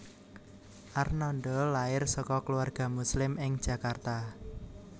Arnada lair saka keluarga Muslim ing Jakarta